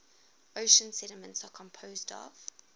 ocean sediments are composed of